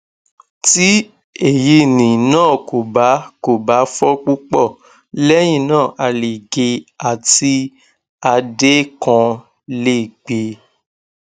ti eyini naa ko ba ko ba fọ pupọ lẹhinna a le ge ati adé kan le gbe